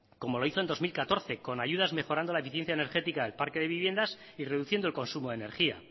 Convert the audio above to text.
como lo hizo en dos mil catorce con ayudas mejorando la eficiencia energética del parque de viviendas y reduciendo el consumo de energía